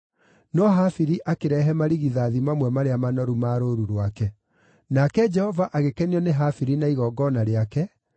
No Habili akĩrehe marigithathi mamwe marĩa manoru ma rũũru rwake. Nake Jehova agĩkenio nĩ Habili na igongona rĩake,